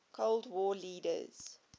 cold war leaders